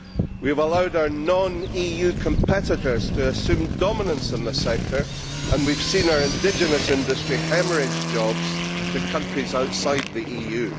We have allowed our non EU competitors to assume dominance in this sector and we have seen our indigenous industry haemorrhage jobs to countries outside the EU.